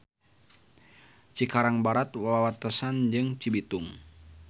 Cikarang Barat wawatesan jeung Cibitung.